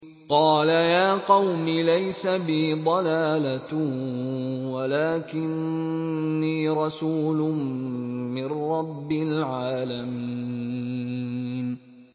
قَالَ يَا قَوْمِ لَيْسَ بِي ضَلَالَةٌ وَلَٰكِنِّي رَسُولٌ مِّن رَّبِّ الْعَالَمِينَ